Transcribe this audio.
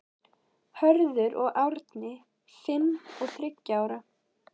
Hörður og Árni, fimm og þriggja ára.